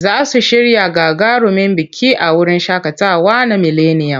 Za su shirya gagarumin biki a wurin shaƙatawa na mileniyam.